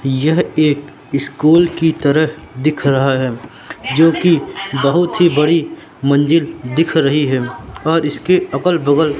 यह एक स्कूल की तरह दिख रहा है जो कि बहुत ही बड़ी मंजिल दिख रही है और इसके अगल बगल--